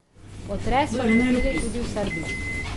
Potres so čutili tudi v Srbiji.